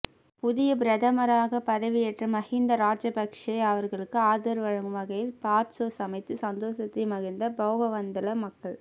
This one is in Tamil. புதிய பிரதமராக பதவியேற்ற மஹிந்த ராஜபக்ஷ அவர்களுக்கு ஆதரவு வழங்கும் வகையில் பாற்சோர் சமைத்து சந்தோசத்தை மகிழ்ந்த பொகவந்தலாவ மக்கள்